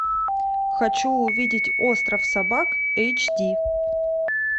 хочу увидеть остров собак эйч ди